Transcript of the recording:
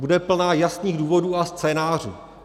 Bude plná jasných důvodů a scénářů.